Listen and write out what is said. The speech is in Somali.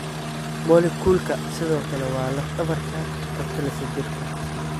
Moleculka sidoo kale waa laf dhabarta ka talisa jirka.